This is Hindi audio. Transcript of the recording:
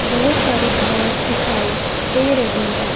बहोत सारी घास दिखाई दे रही है।